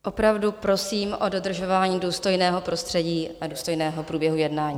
Opravdu prosím o dodržování důstojného prostředí a důstojného průběhu jednání.